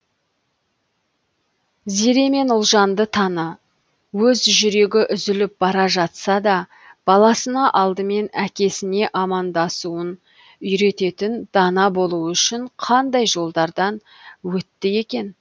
зере мен ұлжанды таны өз жүрегі үзіліп бара жатса да баласына алдымен әкесіне амандасуын үйрететін дана болуы үшін қандай жолдардан өтті екен